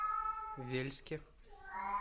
вельске